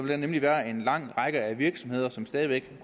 der nemlig være en lang række af virksomheder som stadig væk